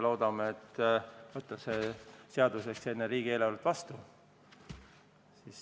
Loodame võtta selle seaduse enne riigieelarvet vastu.